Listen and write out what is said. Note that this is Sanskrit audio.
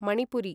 मणिपुरी